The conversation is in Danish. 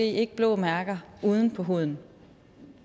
ikke blå mærker på huden